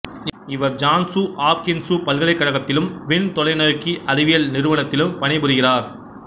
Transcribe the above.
இவர் Johns Hopkins பல்கலைக்கழகத்திலும் விண்தொலைநோக்கி அறிவியல் நிறுவனத்திலும் பணிபுரிகிறார்